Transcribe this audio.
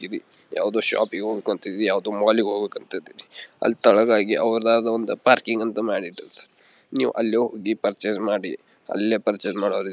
ಗ್ತೀವಿ ಯಾವುದೊ ಶಾಪಿಂಗ್ ಹೋಗ್ಬೇಕು ಅಂತೀವಿ ಯಾವುದೊ ಮಾಲ್ ಗೆ ಹೋಗ್ಬೇಕು ಅಂತೀವಿ ಅಲ್ಲಿ ತಳಗಾಗಿ ಪಾರ್ಕಿಂಗ್ ಅಂತ ಮಾಡಿಟ್ಟಿದ್ದಾರೆ ನೀವು ಅಲ್ಲಿಗೆ ಹೋಗಿ ಪರ್ಚೆಸ್ ಮಾಡಿ ಅಲ್ಲೇ ಪರ್ಚೆಸ್ ಮಾಡಿ --